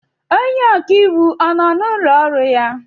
Onye ọka iwu nọ n'ụlọ ọrụ ya?